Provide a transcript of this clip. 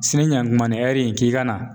Sini ɲakuman ni in k'i ka na